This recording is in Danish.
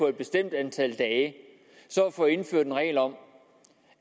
et bestemt antal dage at få indført en regel om